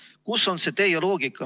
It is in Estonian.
Kus on see teie loogika?